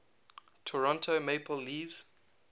toronto maple leafs